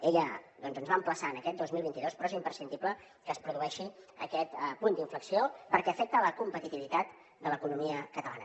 ella doncs ens va emplaçar a aquest dos mil vint dos però és imprescindible que es produeixi aquest punt d’inflexió perquè afecta la competitivitat de l’economia catalana